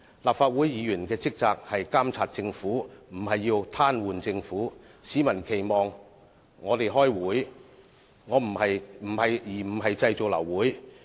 立法會議員的職責是監察政府，不是癱瘓政府；市民期望我們開會，而不是製造流會。